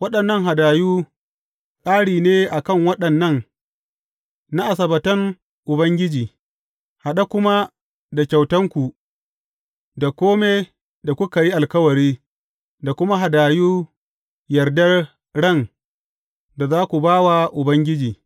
Waɗannan hadayu, ƙari ne a kan waɗannan na Asabbatan Ubangiji, haɗe kuma da kyautanku, da kome da kuka yi alkawari, da kuma hadayu yardar ran da za ku ba wa Ubangiji.